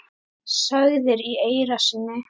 sagðir í eyra syni.